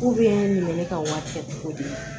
ne bɛ ne ka wari kɛ cogo di